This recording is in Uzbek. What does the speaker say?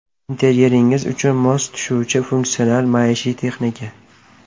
Interyeringiz uchun mos tushuvchi funksional maishiy texnika.